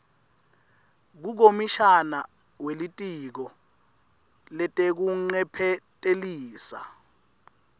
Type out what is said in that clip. kukomishana welitiko letekuncephetelisa